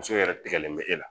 Muso yɛrɛ tɛgɛlen bɛ e la